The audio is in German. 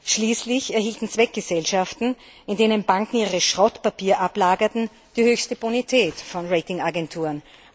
Schließlich erhielten Zweckgesellschaften, in denen Banken ihre Schrottpapiere ablagerten, die höchste Bonität von Ratingagenturen.